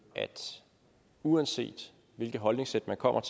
at uanset hvilket holdningssæt man kommer